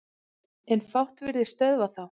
En fátt virðist stöðva þá.